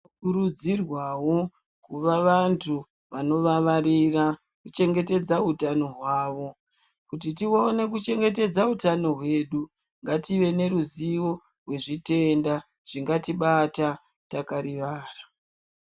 Tinokurudzirwawo kuva vantu vanovavarira kuchengetedza utano hwavo, kuti tione kutichengetedza utano hwedu ngative neruzivo rwezvitenda zvingatibata takarivara.